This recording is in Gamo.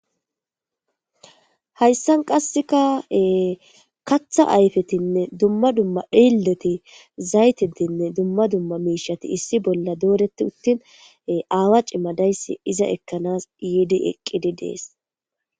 Hayssan qasseka katha ayfetinne dumma dumma dhilleti zaytetinne dumma dumma miishati issi bolla dooreti uttin aawa cimmadayssi iza ekkanas yiidi eqqidi dees